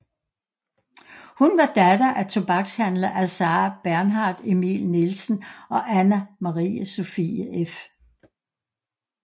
Hun var datter af tobakshandler Assar Bernhard Emil Nielsen og Anna Marie Sophie f